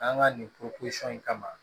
An ka nin in kama